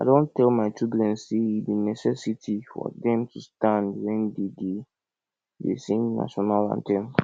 i don tell my children say e be necessity for dem to stand wen dey dey dey sing national anthem